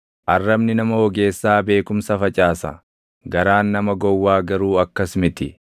Arrabni nama ogeessaa beekumsa facaasa; garaan nama gowwaa garuu akkas miti.